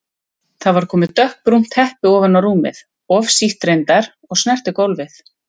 Það var komið dökkbrúnt teppi á rúmið, of sítt reyndar og snerti gólfið.